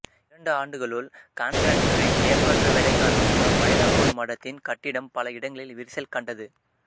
இரண்டு ஆண்டுகளுள் காண்டிராக்டரின் ஏமாற்று வேலை காரணமாக மைலாப்பூர் மடத்தின் கட்டிடம் பல இடங்களில் விரிசல் கண்டது